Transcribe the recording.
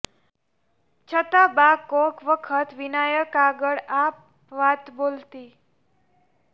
છતાં બા કોક વખત વિનાયક આગળ આ વાત બોલતી